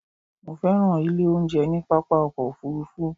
Mo fẹ́ràn ilé oúnjẹ ní pápá ọkọ̀ òfurufú